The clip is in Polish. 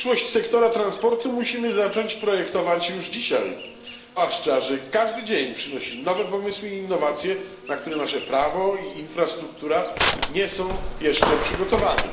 Przyszłość sektora transportu musimy zacząć projektować już dzisiaj, zwłaszcza że każdy dzień przynosi nowe pomysły i innowacje, na które nasze prawo i infrastruktura nie są jeszcze przygotowane.